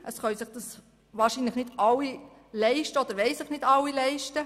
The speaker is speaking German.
Dies können oder wollen sich wahrscheinlich nicht alle leisten.